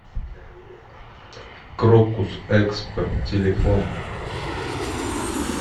крокус экспо телефон